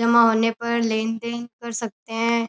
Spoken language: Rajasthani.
जमा होने पर लेन देन कर सकते हैं।